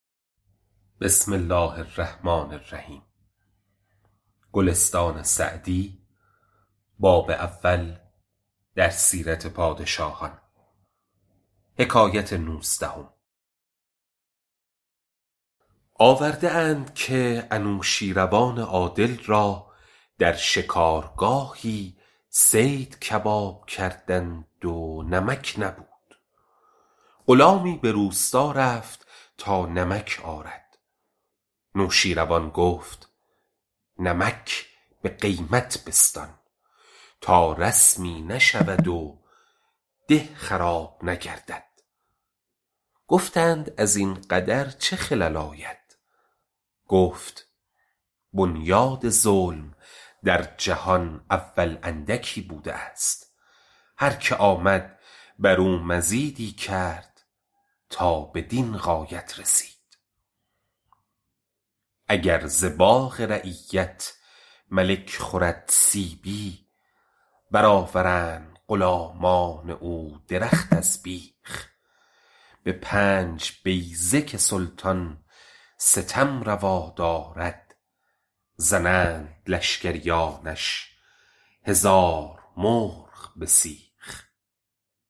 آورده اند که نوشین روان عادل را در شکارگاهی صید کباب کردند و نمک نبود غلامی به روستا رفت تا نمک آرد نوشیروان گفت نمک به قیمت بستان تا رسمی نشود و ده خراب نگردد گفتند از این قدر چه خلل آید گفت بنیاد ظلم در جهان اول اندکی بوده است هر که آمد بر او مزیدی کرده تا بدین غایت رسیده اگر ز باغ رعیت ملک خورد سیبی بر آورند غلامان او درخت از بیخ به پنج بیضه که سلطان ستم روا دارد زنند لشکریانش هزار مرغ به سیخ